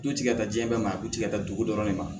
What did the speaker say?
Du tigɛ ka taa diɲɛ bɛɛ ma a du tigɛta dugu dɔrɔn ne ma